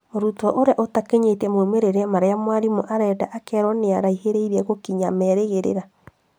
Mũrutwo ũrĩa ũtakinyĩtie moimĩrĩra marĩa mwarimũ akwendaga akerwo nĩakuhĩrĩirie gũkinyia meerĩgĩrĩra